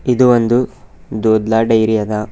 ಇದು ಒಂದು ದೊಡ್ಲ ಡೈರಿ ಅದ.